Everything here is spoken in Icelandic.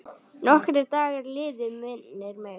Nokkrir dagar liðu, minnir mig.